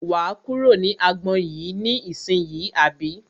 Wà á kúrò ní agbọn yìí ní ìsínyì àbí?